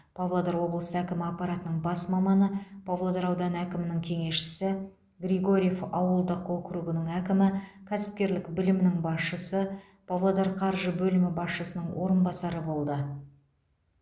павлодар облысы әкімі аппаратының бас маманы павлодар ауданы әкімінің кеңесшісі григорьев ауылдық округінің әкімі кәсіпкерлік білімнің басшысы павлодар қаржы бөлімі басшысының орынбасары болды